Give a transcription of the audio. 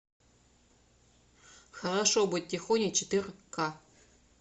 хорошо быть тихоней четыре ка